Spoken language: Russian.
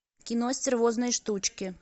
кино стервозные штучки